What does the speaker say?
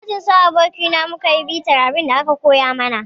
A ajin su abokina mu ka yi bitar abin da aka koya mana.